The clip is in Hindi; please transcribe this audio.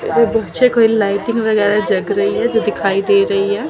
इधर नीचे कोई लाइटिंग वगैरह जग रही है जो दिखाई दे रही है।